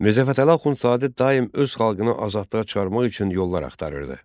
Mirzə Fətəli Axundzadə daim öz xalqını azadlığa çıxarmaq üçün yollar axtarırdı.